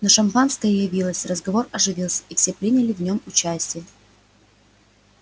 но шампанское явилось разговор оживился и все приняли в нем участие